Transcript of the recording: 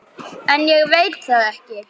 En ég veit það ekki.